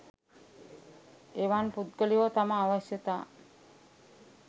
එවන් පුද්ගලයෝ තම අවශ්‍යතා